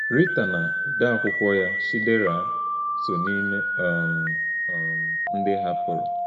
Rita na onye odeakwụkwọ ya, Chidera, so n’ime um um ndị hapụrụ.